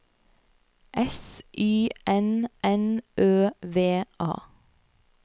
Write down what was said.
S Y N N Ø V A